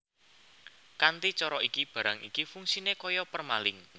Kanthi cara iki barang iki fungsiné kaya permalink